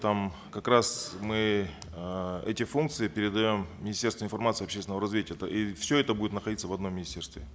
там как раз мы э эти функции передаем министерству информации и общественного развития и все это будет находиться в одном министерстве